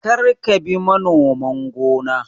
Kar ka bi manoman gona!